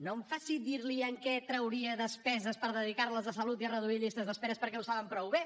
no em faci dir li de què trauria despeses per dedicar les a salut i a reduir llistes d’esperes perquè ho saben prou bé